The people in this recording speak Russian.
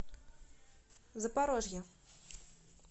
запорожье